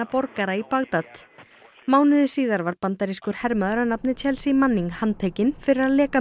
borgara í Bagdad mánuði síðar var bandarískur hermaður að nafni Chelsea Manning handtekinn fyrir að leka